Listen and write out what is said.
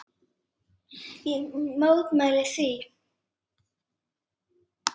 Ég mótmæli því.